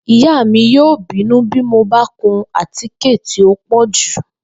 Ìyá mi yóò bínú bí mo bá kun àtíkè tí ó pò̩ jù